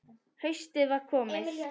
Haustið var komið.